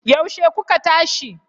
Yaushe kuka tashi?